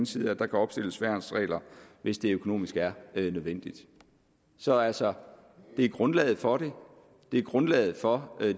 side at der kan opstilles værnsregler hvis det økonomisk er nødvendigt så altså det er grundlaget for det og det er grundlaget for